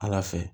Ala fɛ